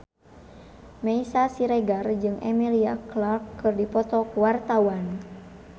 Meisya Siregar jeung Emilia Clarke keur dipoto ku wartawan